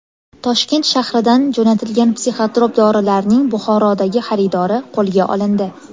Toshkent shahridan jo‘natilgan psixotrop dorilarning Buxorodagi xaridori qo‘lga olindi.